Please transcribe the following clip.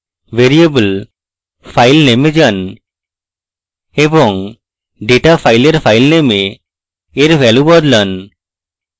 variable filename এ যান এবং ডেটা file filename এর value বদলান